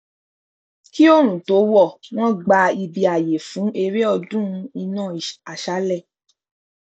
kí òòrùn tó wọ wọn gbá ibi ààyè fún eré ọdún iná àṣálẹ